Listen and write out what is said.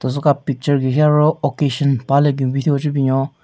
Teso ka picture gu hi aro occasion paha le bin bin thyu ho che binyon.